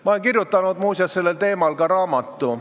Ma olen kirjutanud, muuseas, sellel teemal ka raamatu.